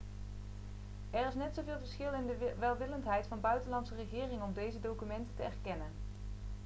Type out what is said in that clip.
er is net zoveel verschil in de welwillendheid van buitenlandse regeringen om deze documenten te erkennen